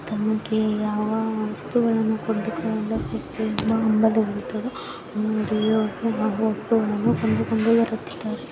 ತಮಗೆ ಯಾವ ವಸ್ತುಗಳನ್ನು ಕೊಂಡುಕೊಳ್ಳಬೇಕೆಂದು ಆ ವಸ್ತುಗಳನ್ನು ಕೊಂಡುಕೊಂಡು ಬರುತ್ತಾರೆ.